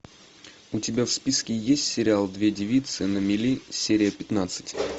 у тебя в списке есть сериал две девицы на мели серия пятнадцать